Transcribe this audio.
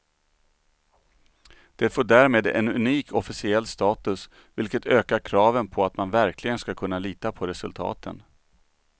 Det får därmed en unik officiell status, vilket ökar kraven på att man verkligen ska kunna lita på resultaten.